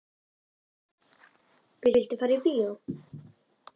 Viltu fara í bíó?